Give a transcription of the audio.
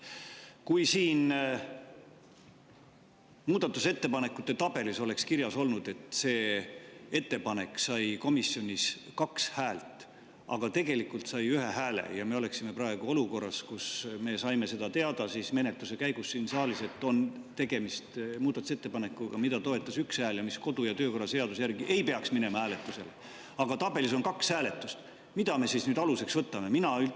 Kui siin muudatusettepanekute tabelis oleks kirjas olnud, et see ettepanek sai komisjonis 2 häält, aga tegelikult sai 1 hääle, ja me oleksime praegu olukorras, kus me saime seda teada menetluse käigus siin saalis, et on tegemist muudatusettepanekuga, mida toetas 1 ja mis kodu‑ ja töökorra seaduse järgi ei peaks minema hääletusele, aga tabelis on 2, mida me siis aluseks võtame?